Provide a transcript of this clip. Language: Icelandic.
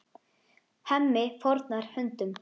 Hemmi fórnar höndum.